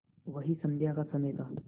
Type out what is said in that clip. वही संध्या का समय था